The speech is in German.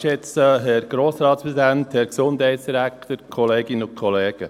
Ich gebe dem Motionär das Wort.